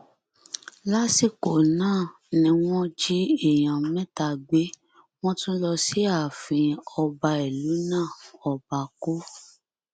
lásìkò náà ni wọn jí èèyàn mẹta gbé wọn tún lọ sí ààfin ọba ìlú náà ọba co